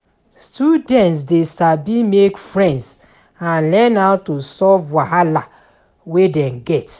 Students de sabi make friends and learn how to solve wahala wey dem get